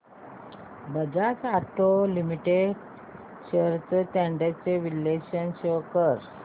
Bajaj auto limited shares trends चे विश्लेषण show कर